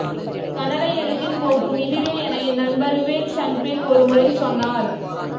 கன்னட எழுத்தின் போக்கும் இதுவே என என் நண்பர் விவேக் ஷன்பேக் ஒருமுறை சொன்னார்